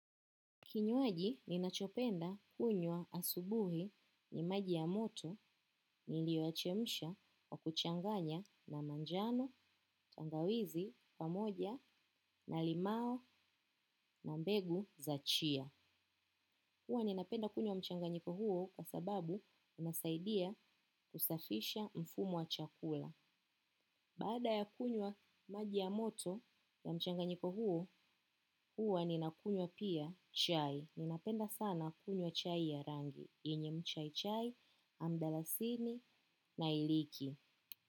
Kinywaji ninachopenda hunywa asubuhi ni maji ya moto ni lioyachemisha kwa kuchanganya na manjano, tangawizi, pamoja, na limao, na mbegu za chia. Huwa ni napenda kunywa mchanganyiko huo kwa sababu unasaidia kusafisha mfumo wa chakula. Baada ya kunywa maji ya moto ya mchanganyiko huo, huwa ni nakunywa pia chai. Ninapenda sana kunywa chai ya rangi, yenye mchai mchai, amdalasini, nailiki.